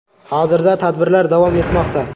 Hozirda tadbirlar davom etmoqda.